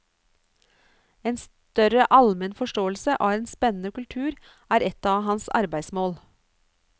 En større almen forståelse av en spennende kultur er et av hans arbeidsmål.